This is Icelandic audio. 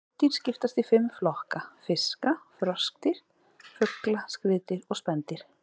Hryggdýr skiptast í fimm flokka: fiska, froskdýr, fugla, skriðdýr og spendýr.